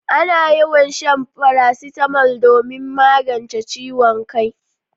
Ana yawan shan farasitamol domin magance ciwon kai.